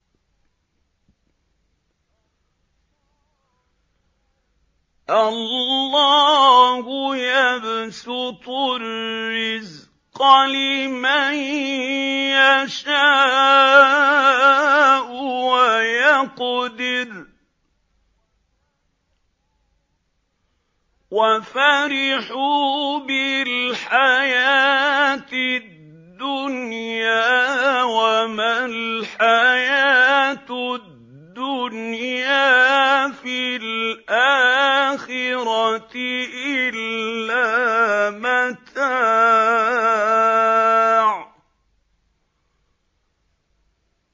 اللَّهُ يَبْسُطُ الرِّزْقَ لِمَن يَشَاءُ وَيَقْدِرُ ۚ وَفَرِحُوا بِالْحَيَاةِ الدُّنْيَا وَمَا الْحَيَاةُ الدُّنْيَا فِي الْآخِرَةِ إِلَّا مَتَاعٌ